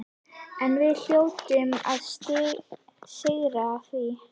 En við hljótum að sigrast á því.